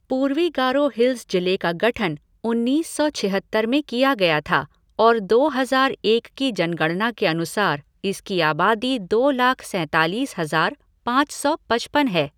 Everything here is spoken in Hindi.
पूर्वी गारो हिल्स जिले का गठन उन्नीस सौ छिहत्तर में किया गया था और दो हज़ार एक की जनगणना के अनुसार इसकी आबादी दो लाख सैंतालीस हज़ार पाँच सौ पचपन है।